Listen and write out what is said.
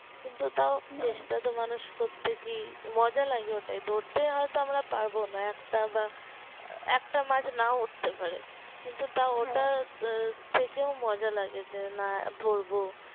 কিন্তু তাও চেষ্টা তো মানুষ করছে কি মজা লাগে ওটাই ধরতে হয়তো আমরা পারবো না একটা বা একটা মাছ নাও উঠতে পারে কিন্তু তাও ওটা থেকেও মজা লাগে যে না ধরবো